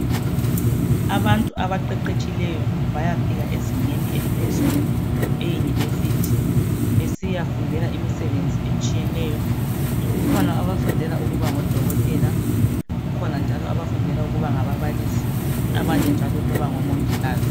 Abantu abaqeqetshileyo bayafika ezingeni eliphezulu eUniversity besiyafundela imisebenzi etshiyeneyo, kukhona abafundela ukuba ngodokotela, kukhona njalo abafundela ukuba ngababalisi, abanye njalo ngomongikazi.